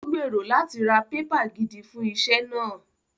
Ó gbèrò láti ra pépà gidi fún iṣẹ́ náà